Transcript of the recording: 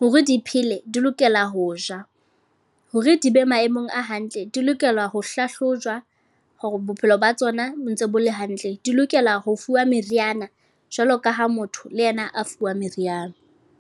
Hore di phele di lokela ho ja, hore di be maemong a hantle, di lokela ho hlahlojwa, hore bophelo ba tsona bo ntse bo le hantle. Di lokela ho fuwa meriana jwalo ka ha motho le yena a fuwa meriana.